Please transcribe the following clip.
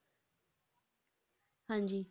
ਹਾਂਜੀ